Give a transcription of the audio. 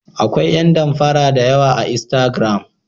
Akwai yan danfara dayawa a instagram.